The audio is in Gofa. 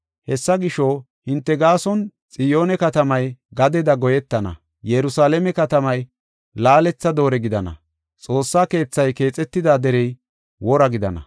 Hessa gisho, hinte gaason Xiyoone katamay gadeda goyetana; Yerusalaame katamay laaletha doore gidana. Xoossa keethay keexetida derey wora gidana.